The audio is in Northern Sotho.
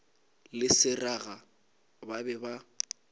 le seraga ba be ba